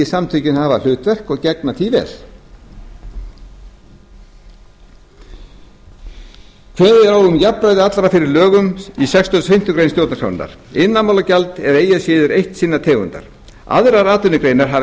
samtökin hafa hlutverk og gegna því vel kveðið er á um jafnræði allra fyrir lögum í sextugasta og fimmtu grein stjórnarskrárinnar iðnaðarmálagjald er eigi að síður eitt sinnar tegundar aðrar atvinnugreinar hafa